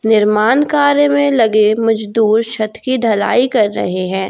निर्माण कार्य में लगे मजदूर छत की ढलाई कर रहे हैं।